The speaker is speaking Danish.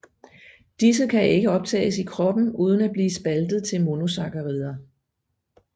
Disse kan ikke optages i kroppen uden at blive spaltet til monosaccharider